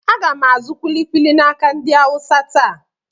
Aga m azụ kuli kuli n'aka ndị Awụsa taa.